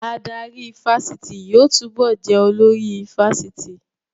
Adarí ifásitì yóò túbọ̀ jẹ́ olórí ifásitì